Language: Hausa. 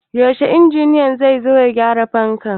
Yaushe injiniya zai zo ya gyara fanka?